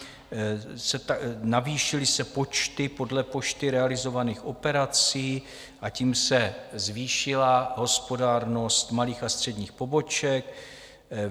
Navýšily se počty podle poštou realizovaných operací a tím se zvýšila hospodárnost malých a středních poboček.